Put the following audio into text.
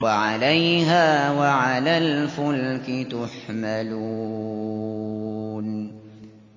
وَعَلَيْهَا وَعَلَى الْفُلْكِ تُحْمَلُونَ